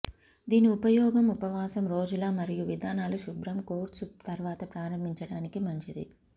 దీని ఉపయోగం ఉపవాసం రోజుల మరియు విధానాలు శుభ్రం కోర్సు తర్వాత ప్రారంభించడానికి మంచిది